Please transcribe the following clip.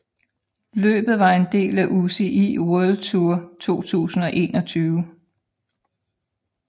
Løbet var en del af UCI World Tour 2021